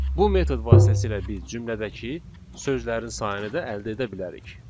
Bu metod vasitəsilə biz cümlədəki sözlərin sayını da əldə edə bilərik.